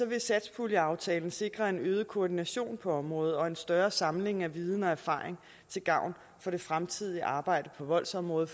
vil satspuljeaftalen sikre en øget koordination på området og en større samling af viden og erfaring til gavn for det fremtidige arbejde på voldsområdet